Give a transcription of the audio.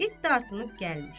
İt dartınıb gəlmir.